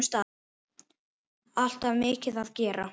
Alltaf mikið að gera.